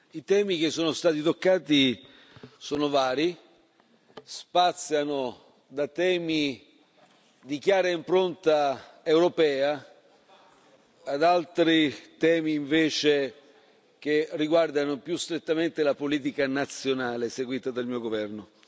I temi che sono stati toccati sono vari, spaziano da temi di chiara impronta europea ad altri temi, invece, che riguardano più strettamente la politica nazionale seguita del mio governo.